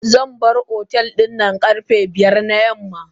Zanbar otel dinnan karfe biyar na yamma.